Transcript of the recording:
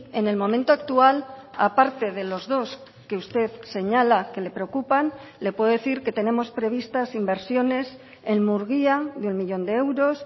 en el momento actual aparte de los dos que usted señala que le preocupan le puedo decir que tenemos previstas inversiones en murgia de un millón de euros